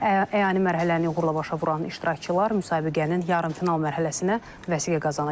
Əyani mərhələni uğurla başa vuran iştirakçılar müsabiqənin yarımfinal mərhələsinə vəsiqə qazanacaq.